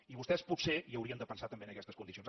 i vostès potser hi haurien de pensar també en aquestes condicions